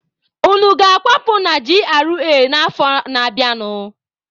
Unu ga-akwapụ na GRA a n'afọ na-abịanụ!